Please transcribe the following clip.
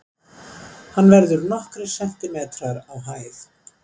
hann verður nokkrir sentimetrar á hæð